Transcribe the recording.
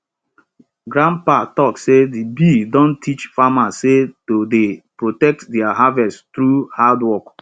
grandpa talk say de bee don teach farmers sey to dey protect their harvest through hardwork